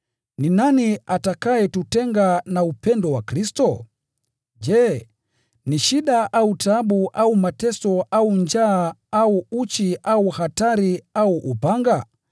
Ni nani atakayetutenga na upendo wa Kristo? Je, ni shida au taabu au mateso au njaa au uchi au hatari au upanga?